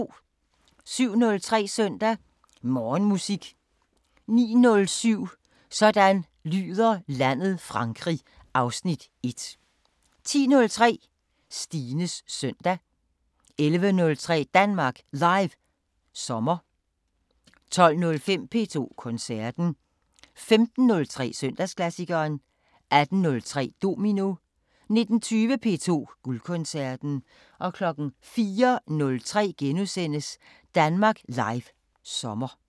07:03: Søndag Morgenmusik 09:07: Sådan lyder landet: Frankrig (Afs. 1) 10:03: Stines Søndag 11:03: Danmark Live sommer 12:15: P2 Koncerten 15:03: Søndagsklassikeren 18:03: Domino 19:20: P2 Guldkoncerten 04:03: Danmark Live sommer *